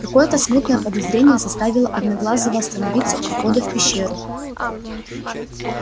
какое то смутное подозрение заставило одноглазого остановиться у входа в пещеру